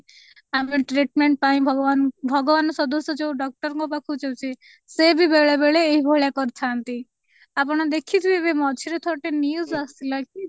ଆମେ treatment ପାଇଁ ଭଗବାନ ଭଗବାନ ସଦୃଶ୍ୟ ଯୋଉ doctor ଙ୍କ ପାଖ କୁ ଯାଉଛେ ସେ ବି ବେଳେ ବେଳେ ଏଇ ଭଳିଆ କରିଥାନ୍ତି ଆପଣ ଦେଖିଥିବେ ବି ମଝିରେ ଥର ଟେ news ଆସିଥିଲା କି